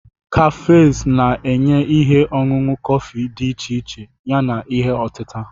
kefus na-enye ihe ọṅụṅụ kọfị dị iche iche yana ihe otita.